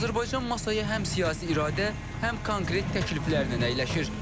Azərbaycan masaya həm siyasi iradə, həm konkret təkliflərlə əyləşir.